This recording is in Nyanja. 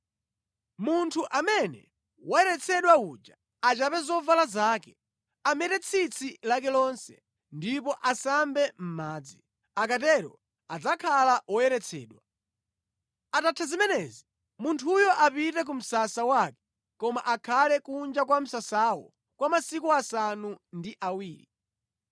“Munthu amene wayeretsedwa uja achape zovala zake, amete tsitsi lake lonse, ndipo asambe mʼmadzi. Akatero adzakhala woyeretsedwa. Atatha zimenezi munthuyo apite ku msasa wake koma akhale kunja kwa msasawo kwa masiku asanu ndi awiri.